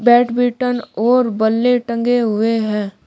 Badminton और बल्ले टंगे हुए हैं।